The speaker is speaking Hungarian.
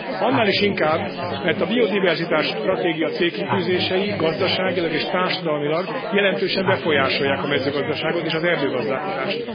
Annál is inkább, mert a biodiverzitási stratégia célkitűzései, gazdaságilag és társadalmilag jelentősen befolyásolják a mezőgazdaságot és az erdőgazdálkodást.